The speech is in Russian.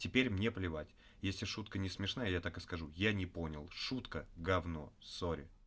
теперь мне плевать если шутка несмешная так и скажу я не понял шутка гавно сори